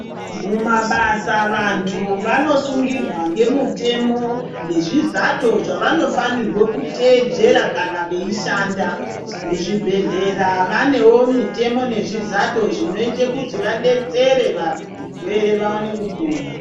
Mumabasa vantu vanosungirwa ngemutemo nezvizato zvavanofanirwe kuteedzera kana veishanda. Muzvibhehlera vanewo mitemo nezvizato zvinoite kuti vadetsere varwere vaone kupona.